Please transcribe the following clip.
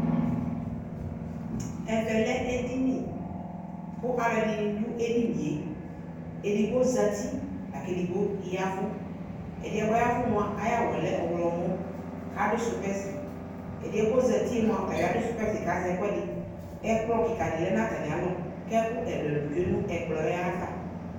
Ɛvɛ lɛ edini , kʋ alʋɛdɩnɩ dʋ edinie :edigbo zati la k'edigbo yavʋ ; ɛdɩɛ k'ɔyavʋ mʋa , ay'awʋɛ lɛ ɔɣlɔmɔ k'adʋ sʋpɛsɩ , ɛdɩɛ k'ozatie mʋa ɔtabɩ adʋ sʋpɛsɩ kazɛkʋɛdɩ, ɛkplɔ kɩka dɩ ya n'atamɩalɔ k'ɛkʋ ɛlʋɛlʋ tsue nʋ ɛkplɔ yɛ ava